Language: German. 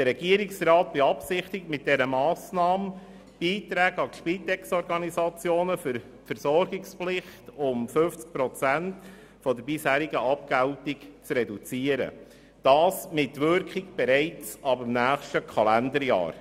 Der Regierungsrat beabsichtigt mit dieser Massnahme, die Beiträge an die Spitexorganisationen für die Versorgungspflicht um 50 Prozent der bisherigen Abgeltung zu reduzieren, und zwar mit Wirkung bereits ab dem kommenden Kalenderjahr.